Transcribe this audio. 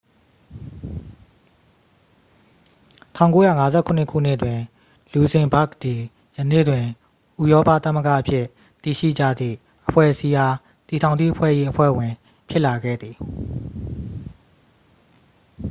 1957 ခုနှစ်တွင် လူဇင်ဘာ့ဂ်သည် ယနေ့တွင် ဥရောပသမဂ္ဂအဖြစ် သိရှိကြသည့်အဖွဲ့အစည်းအား တည်ထောင်သည့်အဖွဲ့၏ အဖွဲ့ဝင်ဖြစ်လာခဲ့သည်